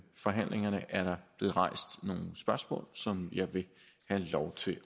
forhandlingerne er der blevet rejst nogle spørgsmål som jeg vil have lov til